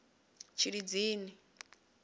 tshilidzini